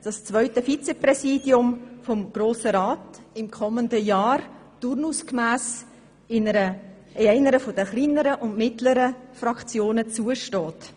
Das zweite Vizepräsidium des Grossen Rats steht im kommenden Jahr turnusgemäss einer der kleineren und mittleren Fraktionen zu.